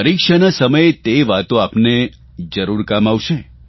પરીક્ષાના સમયે તે વાર્તા આપને જરૂર કામમાં આવશે